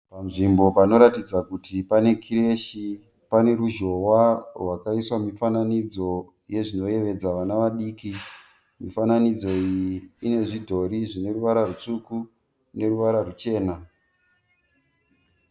Panzvimbo panoratidza kuti pane kireshi pane rushohwa rwakaiswa mufananidzo unozvinoyevedza vana vadiki ,pane mufananidzo une zvidhori zvine ruvara rwutsvuku neruvara rwuchena.